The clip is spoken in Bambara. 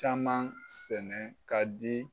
Caman sɛnɛ ka di